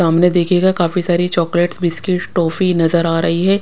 सामने देखिएगा काफी सारी चॉकलेट बिस्किट टॉफी नजर आ रही है।